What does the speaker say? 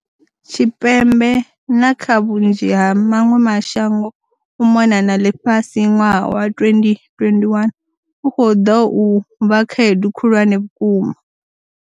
Tshipembe, na kha vhunzhi ha maṅwe mashango u mona na ḽifhasi, ṅwaha wa 2021 u khou ḓa u vha khaedu khulwane vhukuma.